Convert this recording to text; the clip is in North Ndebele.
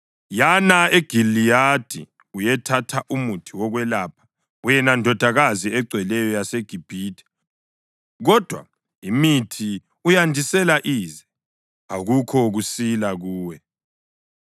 Yana eGiliyadi uyethatha umuthi wokwelapha, wena Ndodakazi egcweleyo yaseGibhithe. Kodwa imithi uyandisela ize; akukho kusila kuwe.